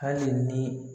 Hali ni